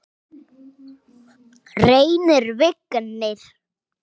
Hann var frábær í dag.